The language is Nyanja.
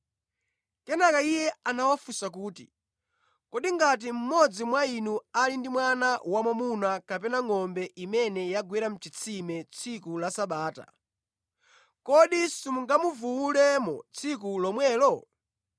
Kenaka Iye anawafunsa kuti, “Kodi ngati mmodzi mwa inu ali ndi mwana wamwamuna kapena ngʼombe imene yagwera mʼchitsime tsiku la Sabata, kodi simungamuvuwulemo tsiku lomwelo?”